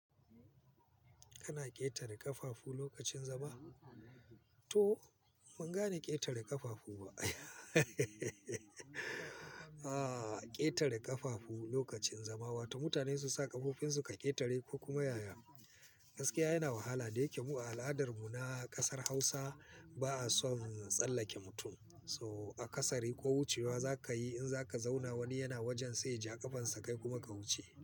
Kana ƙetare ƙafafu lokacin zama? To ban gane ƙetare ƙafafu ba. Aaa ƙetare ƙafafu lokacin zama, wato mutane su sa ƙafafunsu ka ƙetare ko kuma yaya. Gaskiya yana wahala da yake mu a al'adar mu na ƙasar Hausa ba a son tsallake mutum. So a kasare ko wucewa za ka yi in za ka zauna wani yana wajen sai ja ƙafan sa kai kuma ka wuce.